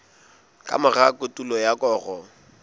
ka mora kotulo ya koro